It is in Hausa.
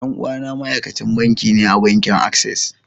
Dan uwana ma'aikacin banki ne a bankin access.